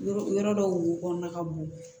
Yɔrɔ yɔrɔ dɔw wo kɔnɔna ka bon